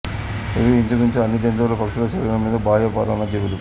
ఇవి ఇంచుమించు అన్ని జంతువులు పక్షుల శరీరం మీద బాహ్య పరాన్న జీవులు